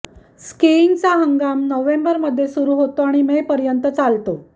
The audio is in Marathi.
स्कीइंगचा हंगाम नोव्हेंबरमध्ये सुरू होतो आणि मे पर्यंत चालतो